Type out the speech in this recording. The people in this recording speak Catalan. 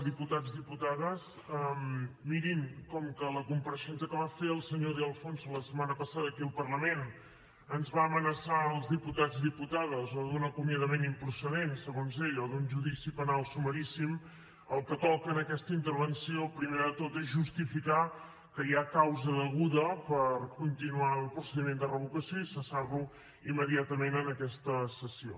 diputats diputades mirin com que a la compareixença que va fer el senyor de alfonso la setmana passada aquí al parlament ens va amenaçar als diputats i diputades o d’un acomiadament improcedent segons ell o d’un judici penal sumaríssim el que toca en aquesta intervenció primer de tot és justificar que hi ha causa deguda per continuar el procediment de revocació i cessar lo immediatament en aquesta sessió